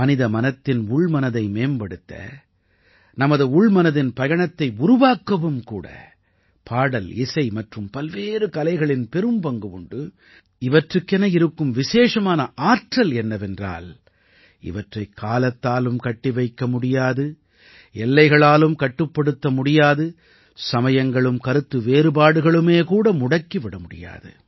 மனித மனத்தின் உள்மனதை மேம்படுத்த நமது உள்மனதின் பயணத்தை உருவாக்கவும் கூட பாடல்இசை மற்றும் பல்வேறு கலைகளின் பெரும்பங்கு உண்டு இவற்றுக்கென இருக்கும் விசேஷமான ஆற்றல் என்னவென்றால் இவற்றைக் காலத்தாலும் கட்டிவைக்க முடியாது எல்லைகளாலும் கட்டுப்படுத்த முடியாது சமயங்களும் கருத்து வேறுபாடுகளுமே கூட முடக்கி விட முடியாது